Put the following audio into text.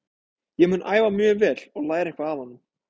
Ég mun æfa mjög vel og læra eitthvað af honum.